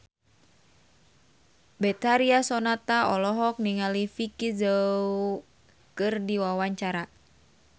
Betharia Sonata olohok ningali Vicki Zao keur diwawancara